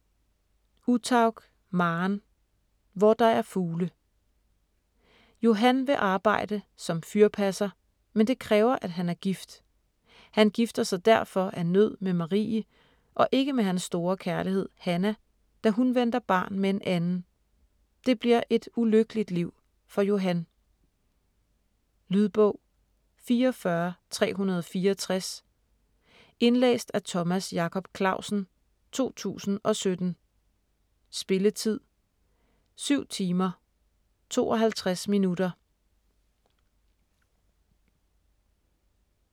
Uthaug, Maren: Hvor der er fugle Johan vil arbejde som fyrpasser, men det kræver at han er gift. Han gifter sig derfor af nød med Marie og ikke med hans store kærlighed, Hannah, da hun venter barn med en anden. Det bliver et ulykkeligt liv for Johan. Lydbog 44364 Indlæst af Thomas Jacob Clausen, 2017. Spilletid: 7 timer, 52 minutter.